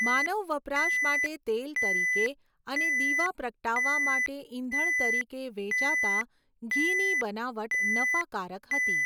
માનવ વપરાશ માટે તેલ તરીકે અને દીવા પ્રગટાવવા માટે ઇંધણ તરીકે વેચાતા ઘીની બનાવટ નફાકારક હતી.